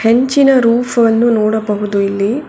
ಹೆಂಚಿನ ರೂಫ್ ವನ್ನು ನೋಡಬಹುದು ಇಲ್ಲಿ.